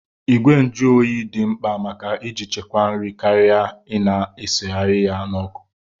Ìgwè njuoyi bụ di mkpa maka iji chekwaa nri karịa Ị na-esigharị ya n'ọkụ.